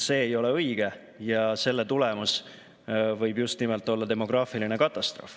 See ei ole õige ja selle tulemus võib just nimelt olla demograafiline katastroof.